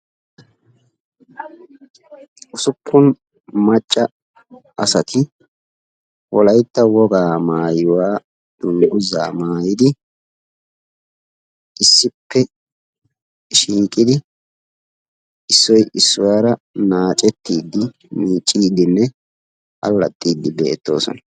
usuppun macca asati wolayitta wogaa maayuwa dunguzaa maayidi issippe shiiqidi issoy issuwaara naacettiiddi miicciidinne allaxxiiddi beettoosona.